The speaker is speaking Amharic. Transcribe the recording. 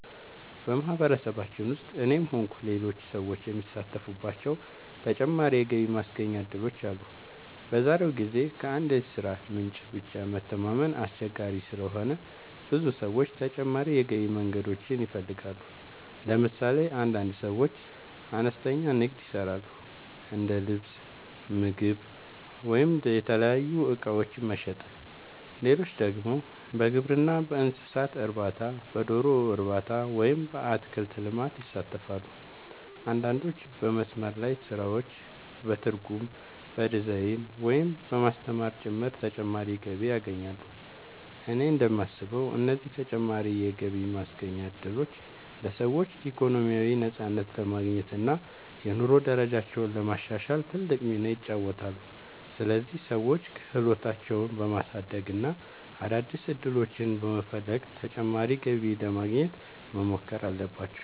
በማህበረሰባችን ውስጥ እኔም ሆንኩ ሌሎች ሰዎች የሚሳተፉባቸው ተጨማሪ የገቢ ማስገኛ እድሎች አሉ። በዛሬው ጊዜ ከአንድ የሥራ ምንጭ ብቻ መተማመን አስቸጋሪ ስለሆነ ብዙ ሰዎች ተጨማሪ የገቢ መንገዶችን ይፈልጋሉ። ለምሳሌ አንዳንድ ሰዎች አነስተኛ ንግድ ይሰራሉ፤ እንደ ልብስ፣ ምግብ ወይም የተለያዩ እቃዎች መሸጥ። ሌሎች ደግሞ በግብርና፣ በእንስሳት እርባታ፣ በዶሮ እርባታ ወይም በአትክልት ልማት ይሳተፋሉ። አንዳንዶች በመስመር ላይ ስራዎች፣ በትርጉም፣ በዲዛይን፣ ወይም በማስተማር ጭምር ተጨማሪ ገቢ ያገኛሉ። እኔ እንደማስበው እነዚህ ተጨማሪ የገቢ ማስገኛ እድሎች ለሰዎች ኢኮኖሚያዊ ነፃነት ለማግኘት እና የኑሮ ደረጃቸውን ለማሻሻል ትልቅ ሚና ይጫወታሉ። ስለዚህ ሰዎች ክህሎታቸውን በማሳደግ እና አዳዲስ ዕድሎችን በመፈለግ ተጨማሪ ገቢ ለማግኘት መሞከር አለባቸው።